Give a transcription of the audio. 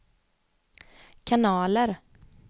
kanaler